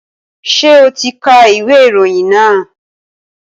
Ṣé o ti ka ìwé ìròyìn náà?